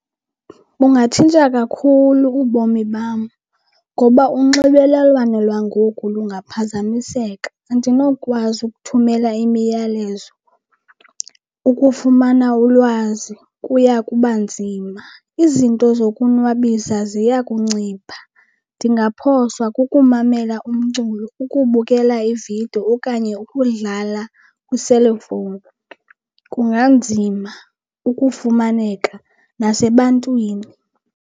Bungatshintsha kakhulu ubomi bam ngoba unxibelelwano lwangoku lungaphazamiseka. Andinokwazi ukuthumela imiyalezo, ukufumana ulwazi kuya kuba nzima, izinto zokuzonwabisa ziya kuncipha. Ndingaphoswa kukumamela umculo, ukubukela iividiyo okanye ukudlala kwiselefowuni, kunganzima ukufumaneka nasebantwini.